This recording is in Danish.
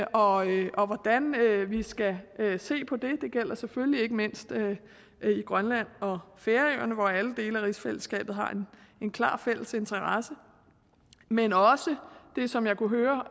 og og hvordan vi vi skal se på det det gælder selvfølgelig ikke mindst i grønland og færøerne hvor alle dele af rigsfællesskabet har en klar fælles interesse men også det som jeg kunne høre